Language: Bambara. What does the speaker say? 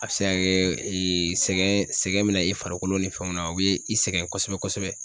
A bɛ se ka kɛ sɛgɛn sɛgɛn bɛ na i farikolo ni fɛnw na o be i sɛgɛn kosɛbɛ-kosɛbɛ.